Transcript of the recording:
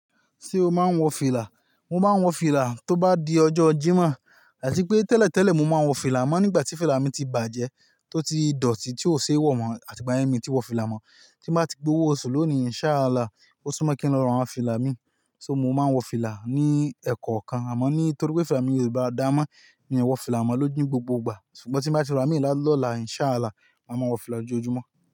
Ṣé o máa ń wọ fìlà? Mo máa ń wọ fìlà tó bá di ọjọ́ Jímọ̀ àti pé tẹ́lẹ̀tẹ́lẹ̀ mo máa ń wọ fìlà amọ́ nígbà tí fìlà mi ti bàjẹ́ tó ti dọ̀tí tí ó ṣe é wọ̀ mọ́ àti igbá yẹ́n mi n tí wọ fìlà mọ́. Tí n bá ti gbowó oṣù lónìí, Insha'Allah, ó súmọ́ kí n lọ ra awon fìlà mi. So mo máa wọ fìlà ní ẹ̀kọ̀okan àmọ́ nítorí pé fìlà mi yóò dáa mọ́, mi ò wọ fìlà mọ́ lójú ni gbogbo ìgbà. Ṣùgbọ́n tí n bá ti ra mí là lọ́la, Insha'Allah, màá mo wọ fìlà lójoojúmọ́.